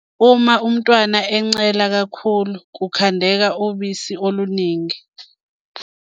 Uma umntwana encela kakhulu, kukhandeka ubusi oluningi.